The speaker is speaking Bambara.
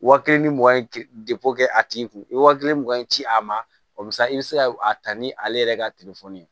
Wa kelen ni mugan ye kɛ a tigi kun i ye wa kelen mugan ci a ma sa i bɛ se ka a ta ni ale yɛrɛ ka telefɔni ye